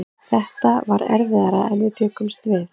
Þetta var erfiðara en við bjuggumst við.